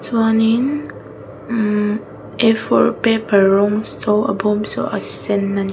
chuanin imm afour paper rawng saw a bawm saw a sen a ni--